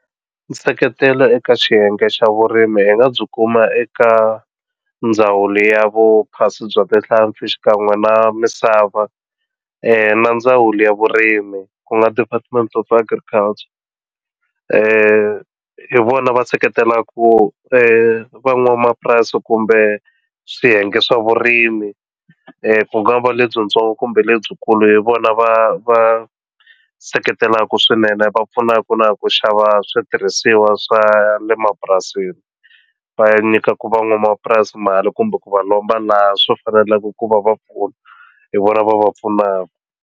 Nseketelo eka xiyenge xa vurimi hi nga byi kuma eka ndhawu ya vuphasi bya tihlampfi xikan'we na misava na ndzawulo ya vurimi ku nga department of agriculture hi vona va seketela ku van'wamapurasi kumbe swiyenge swa vurimi ku ngava lebyintsongo kumbe lebyikulu hi vona va va seketelaka swinene va pfunaka na ku xava switirhisiwa swa le mapurasini va nyikaku van'wamapurasi mali kumbe ku va lomba laha swi faneleke ku va va pfuna hi vona va va pfunaka.